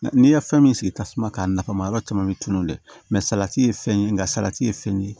N'i ye fɛn min sigi tasuma kan nafa yɔrɔ caman bɛ tunun dɛ mɛ salati ye fɛn ye nka salati ye fɛn ye